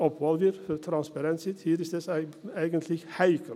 Obwohl wir für Transparenz sind – hier ist es eigentlich heikel.